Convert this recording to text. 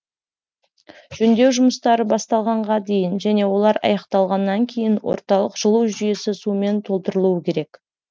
жөндеу жұмыстары басталғанға дейін және олар аяқталғаннан кейін орталық жылу жүйесі сумен толтырылуы керек